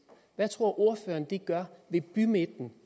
hvad tror ordføreren at det gør ved bymidten